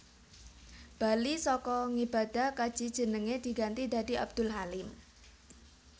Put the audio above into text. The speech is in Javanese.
Bali saka ngibadah kaji jenenge diganti dadi Abdul Halim